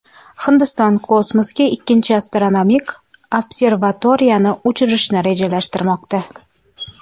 Hindiston kosmosga ikkinchi astronomik observatoriyani uchirishni rejalashtirmoqda.